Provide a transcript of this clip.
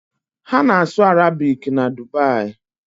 Ha na-asụ Arabik na Dubai.